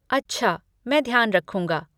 अच्छा, मैं ध्यान रखूँगा।